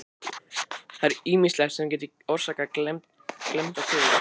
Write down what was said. Það er ýmislegt sem getur orsakað klemmda taug.